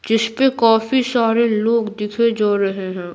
जिस पे काफी सारे लोग दिखे जा रहे हैं --